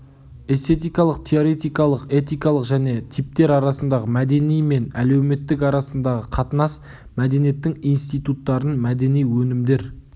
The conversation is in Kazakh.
эстетикалық теоретикалық этикалық және типтер арасында мәдени мен әлеуметтік арасындағы қатынас мәдениеттің институттарын мәдени өнімдер